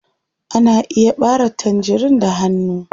Ana iya ɓare tangerin da hanu.